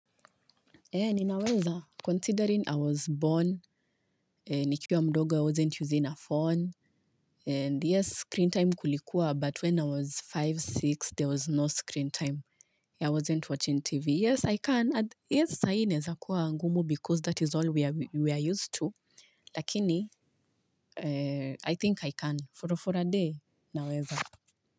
Ni naweza, considering I was born, ni kiuwa mdogo, I wasn't using a phone, and yes, screen time kulikuwa, but when I was tano, sita, there was no screen time. I wasn't watching TV. Yes, I can. Yes, saa hii, inawezakuwa ngumu because that is all we are used to, lakini, I think I can. For a day, naweza.